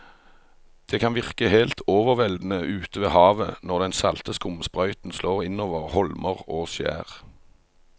Det kan virke helt overveldende ute ved havet når den salte skumsprøyten slår innover holmer og skjær.